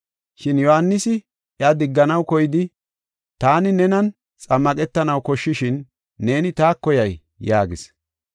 Shin Yohaanisi iya digganaw koyidi, “Taani nenan xammaqetanaw koshshishin neeni taako yay?” yaagis.